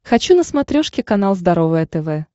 хочу на смотрешке канал здоровое тв